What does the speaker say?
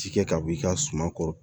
Ci kɛ ka b'i ka suman kɔrɔ